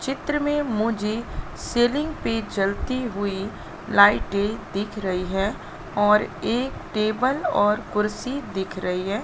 चित्र में मुझे सीलिंग पे चलती हुई लाइटे दिख रही है और एक टेबल और कुर्सी दिख रही हैं।